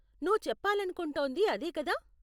నువ్వు చెప్పాలనుకుంటోంది అదే కదా?